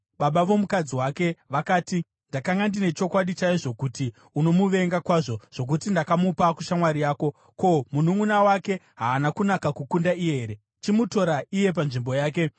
Baba vomukadzi wake vakati, “Ndakanga ndine chokwadi chaizvo kuti unomuvenga kwazvo zvokuti ndakamupa kushamwari yako. Ko, mununʼuna wake haana kunaka kukunda iye here? Chimutora iye panzvimbo yake.”